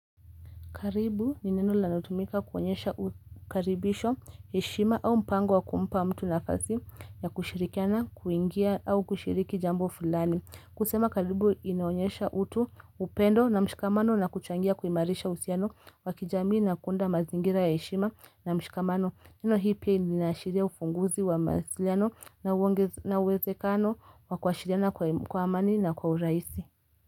Karibu ni neno linalotumika kuonyesha ukaribisho heshima au mpango wakumpa mtu nafasi ya kushirikiana kuingia au kushiriki jambo fulani kusema karibu inaonyesha utu upendo na mshikamano na kuchangia kuimarisha usiano wakijamii na kunda mazingira ya heshima na mshikamano neno hii pia ninaashiria ufunguzi wa masiliano na uwezekano wa kuashiriana kwa amani na kwa uraisi.